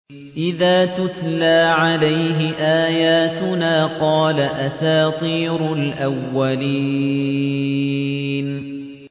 إِذَا تُتْلَىٰ عَلَيْهِ آيَاتُنَا قَالَ أَسَاطِيرُ الْأَوَّلِينَ